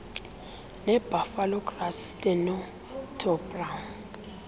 nebuffalo grass stenotaphrum